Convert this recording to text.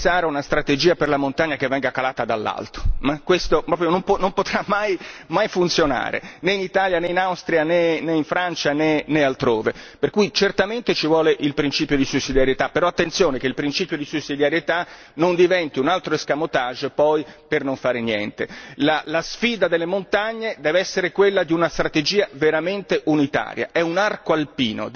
È impossibile pensare a una strategia per la montagna che venga calata dall'alto, non potrà mai funzionare, né in Italia né in Austria né in Francia né altrove, per cui certamente ci vuole il principio di sussidiarietà, però attenzione che il principio di sussidiarietà non diventi un altro escamotage per poi non fare niente. La sfida delle montagne deve essere quella di una strategia veramente unitaria.